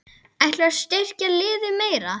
Ætlarðu að styrkja liðið meira?